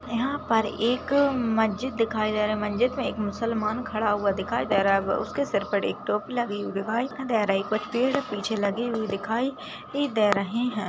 यहाँ पर एक मस्जिद दिखाई दे रहा है मस्जिद मे एक मूसल मान खड़ा हुआ दिखाई दे रहा है उसके सिर पर एक टोपी लगी हुई है पेड़ पीछे लगे हुए दिखाई दे रहे है।